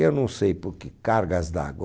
Eu não sei por que cargas d'água.